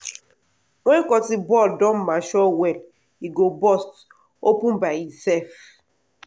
wen cotton ball don mature well e go burst open by e self.